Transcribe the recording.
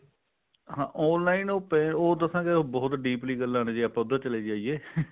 ਹਾਂ online ਉਹ ਦੱਸਾਂ ਬਹੁਤ deeply ਗੱਲਾਂ ਨੇ ਜੇ ਆਪਾਂ ਉੱਧਰ ਚਲੇ ਜਾਈਏ